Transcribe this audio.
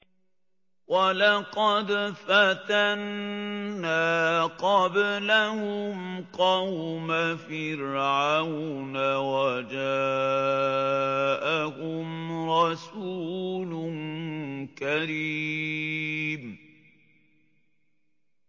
۞ وَلَقَدْ فَتَنَّا قَبْلَهُمْ قَوْمَ فِرْعَوْنَ وَجَاءَهُمْ رَسُولٌ كَرِيمٌ